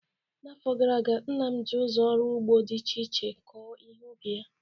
N'afọ gara aga, nna m ji ụzọ ọrụ ugbo dị iche iche kọọ ihe ubi ya